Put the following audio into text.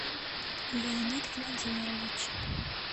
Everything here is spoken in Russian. леонид владимирович